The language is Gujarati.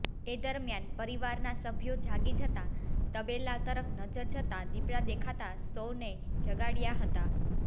એ દરમ્યાન પરીવારના સભ્યો જાગી જતા તબેલા તરફ્ નજર જતા દીપડા દેખાતા સૌને જગાડયા હતા